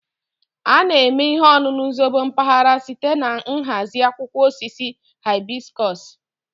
A na-eme ihe ọṅụṅụ zobo mpaghara site na nhazi akwụkwọ osisi hibiscus